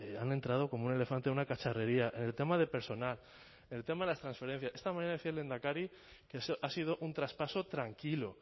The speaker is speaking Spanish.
han entrado como un elefante en una cacharrería en el tema de personal en el tema de las transferencias esta mañana decía el lehendakari que ha sido un traspaso tranquilo